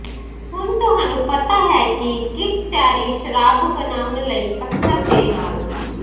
ਹੁਣ ਤੁਹਾਨੂੰ ਪਤਾ ਹੈ ਕਿ ਕਿਸ ਚੈਰੀ ਸ਼ਰਾਬ ਬਣਾਉਣ ਲਈ ਪੱਥਰ ਦੇ ਨਾਲ